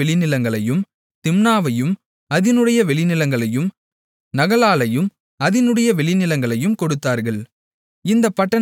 திம்னாவையும் அதினுடைய வெளிநிலங்களையும் நகலாலையும் அதினுடைய வெளிநிலங்களையும் கொடுத்தார்கள் இந்தப் பட்டணங்கள் நான்கு